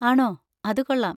ആണോ, അത് കൊള്ളാം.